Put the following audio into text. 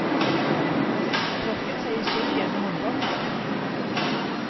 Tørket seg i skjegget med håndbaken.